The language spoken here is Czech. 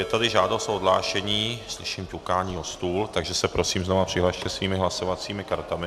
Je tady žádost o odhlášení, slyším ťukání o stůl, takže se prosím znovu přihlaste svými hlasovacími kartami.